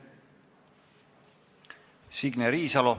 Signe Riisalo.